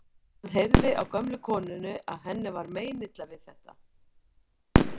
Hann heyrði á gömlu konunni að henni var meinilla við þetta.